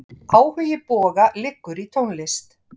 Áhugi Boga liggur í tónlist.